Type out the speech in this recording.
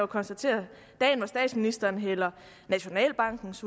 konstatere dagen hvor statsministeren hældte nationalbankens